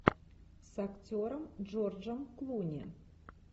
с актером джорджем клуни